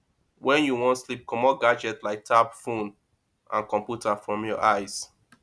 when you wan sleep comot gadgets like tab phone and computer from your eyes